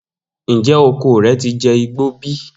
Njẹ oko rẹ ti jẹ igbo bi?